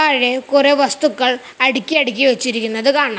പഴയ കൊറെ വസ്തുക്കൾ അടിക്കി അടിക്കി വെച്ചിരിക്കുന്നത് കാണാം.